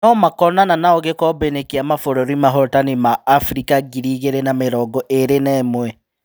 No-makonana naũ gĩkombeinĩ kĩa mabũrũri mahotani ma Afirika ngiri igĩrĩ na mĩrongoĩrĩ naĩmwe.